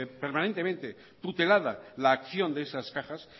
permanentemente tutelada la acción de esas cajas